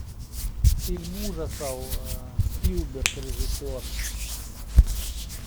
фильм ужасов спилберг режиссер